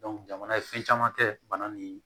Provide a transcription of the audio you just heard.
jamana ye fɛn caman kɛ bana ni